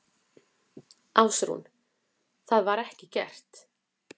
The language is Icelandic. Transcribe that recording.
Ásrún: Það var ekki gert?